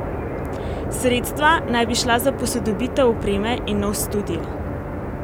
Sredstva naj bi šla za posodobitev opreme in nov studio.